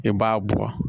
I b'a bɔ